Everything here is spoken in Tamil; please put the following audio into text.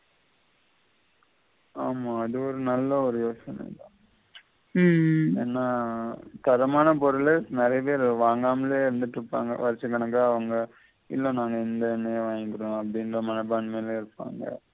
ஆமா அது ஒரு நல்ல ஒரு யோசின தான் உம் ஏன்னா தரமான பொருளே நெறைய பேர் வாங்காமலே இருந்து கிட்டிருப்பாங்க வருஷ கணக்கா அவங்க இல்ல நாங்க இந்த எண்ணையே வாங்கிக்ரோம் அப்படின்னு ஒரு மனப்பாண்மைலே இருப்பாங்க